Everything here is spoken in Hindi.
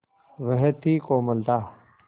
वह थी कोमलता